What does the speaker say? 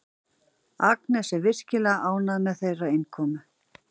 Agnes er virkilega ánægð með þeirra innkomu.